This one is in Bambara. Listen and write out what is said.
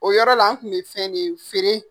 O yɔrɔ la, n kun bi fɛn de feere.